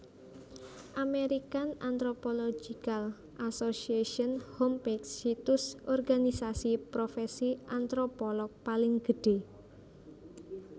American Anthropological Association Homepage Situs organisasi profèsi antropolog paling gedhé